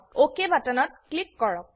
অক বাটনত ক্লিক কৰক